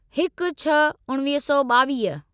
हिकु छह उणिवीह सौ ॿावीह